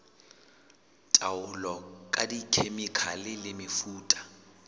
taolo ka dikhemikhale le mefuta